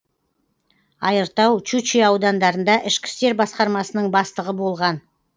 айыртау щучье аудандарында ішкі істер басқармасының бастығы болған